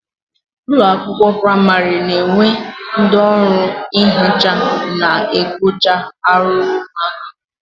Ụlọakwụkwọ praịmarị na-enwe ndị ọrụ nhicha na-ekpocha arụrụ ụmụaka